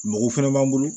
Mɔgɔ fɛnɛ b'an bolo